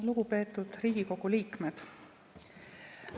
Lugupeetud Riigikogu liikmed!